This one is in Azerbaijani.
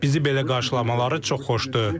Bizi belə qarşılamaları çox xoşdur.